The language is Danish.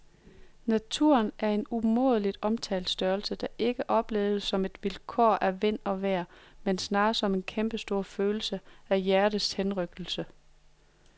Naturen er en umådeligt omtalt størrelse, der ikke opleves som et vilkår af vind og vejr, men snarere som en kæmpestor følelse, en hjertets henrykkelse.